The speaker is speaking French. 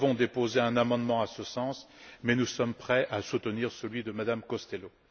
Nous avons déposé un amendement en ce sens mais nous sommes prêts à soutenir celui de Mme Costello.